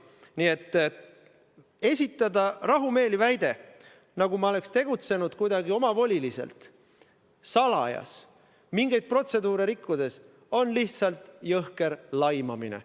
Nii et esitada rahumeeli väide, nagu oleks ma tegutsenud kuidagi omavoliliselt, salajas, mingeid protseduure rikkudes, on lihtsalt jõhker laimamine.